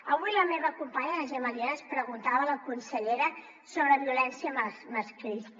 avui la meva companya la gemma lienas preguntava a la consellera sobre violència masclista